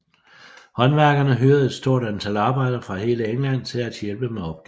Håndværkerne hyrede et stort antal arbejdere fra hele England til at hjælpe med opgaven